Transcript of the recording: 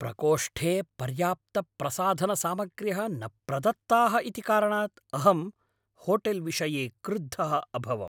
प्रकोष्ठे पर्याप्तप्रसाधनसामग्र्यः न प्रदत्ताः इति कारणात् अहं होटेल्विषये क्रुद्धः अभवम्।